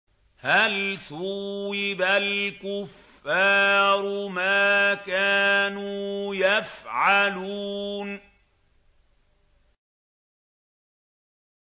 هَلْ ثُوِّبَ الْكُفَّارُ مَا كَانُوا يَفْعَلُونَ